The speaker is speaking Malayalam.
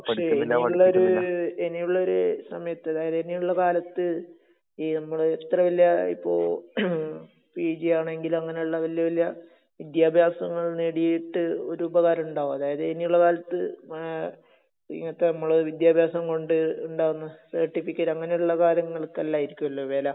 പക്ഷേ ഇനിയുള്ളൊരു സമയത്ത്..അതായത് ഇനിയുള്ള കാലത്ത്..ഈ നമ്മള് ഇത്ര വലിയ..ഇപ്പൊ പിജി ആണെങ്കിലും അങ്ങനെയുള്ള വല്യവല്യ വിദ്യാഭ്യാസങ്ങള് നേടിയിട്ട് ഒരു ഉപകാരമുണ്ടാവുമോ? അതായത് ഇനിയുള്ള കാലത്ത് ഇങ്ങനത്തെ നമ്മള വിദ്യാഭാസം കൊണ്ടിട്ട് ഉണ്ടാവുമോ നു...സർട്ടിഫിക്കറ്റ് അങ്ങനെയുള്ള കാര്യങ്ങൾക്ക് അല്ലായിരിക്കുമല്ലോ വെല...